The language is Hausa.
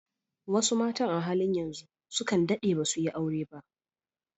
Wasu matan a halin yanzu sukan daɗe dasu yi aure ba.